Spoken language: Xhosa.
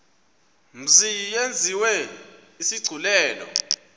mzi yenziwe isigculelo